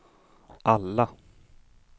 alla